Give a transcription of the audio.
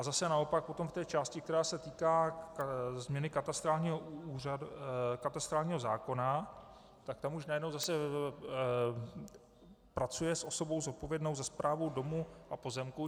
A zase naopak potom v té části, která se týká změny katastrálního zákona, tak tam už najednou zase pracuje s osobou zodpovědnou za správu domů a pozemků.